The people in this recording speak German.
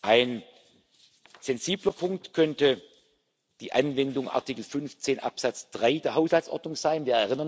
sind. Ein sensibler Punkt könnte die Anwendung von Artikel 15 Absatz 3 der Haushaltsordnung